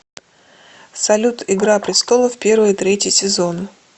салют игра престолов первый и третий сезоны